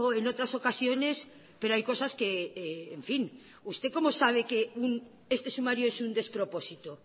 en otras ocasiones pero hay cosas que en fin usted cómo sabe que este sumario es un despropósito